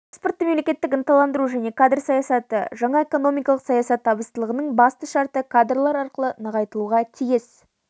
экспортты мемлекеттік ынталандыру жаңа кадр саясаты жаңа экономикалық саясат табыстылығының басты шарты кадрлар арқылы нығайтылуға тиіс